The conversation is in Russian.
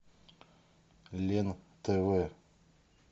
лен тв